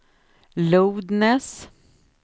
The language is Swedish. loudness